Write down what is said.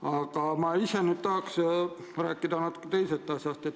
Aga ma ise tahan rääkida natuke teisest asjast.